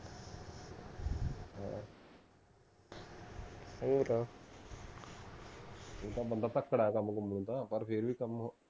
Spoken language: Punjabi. ਹਾਂ ਹੋਰ ਊਂ ਤਾਂ ਬੰਦਾ ਧੱਕੜ ਹੈ ਕੰਮ ਕੁਮ ਨੂੰ ਤਾਂ ਪਰ ਫੇਰ ਵੀ ਕੰਮ